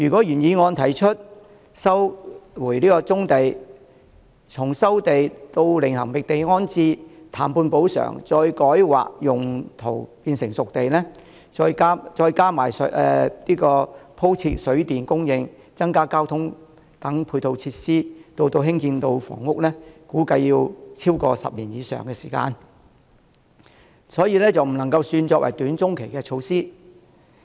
原議案提出的收回棕地措施，從收地、另覓地方安置、談判補償，改劃用途變成"熟地"，再加上鋪設水電供應、增加交通等配套設施至建成房屋，預計需時超過10年，不能說是短中期措施。